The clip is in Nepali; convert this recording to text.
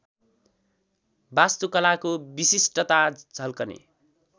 वास्तुकलाको विशिष्टता झल्कने